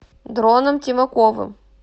дроном тимаковым